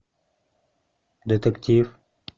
детектив